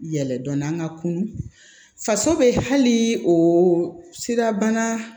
Yɛlɛ dɔnni an ka kunu faso bɛ hali o sirabana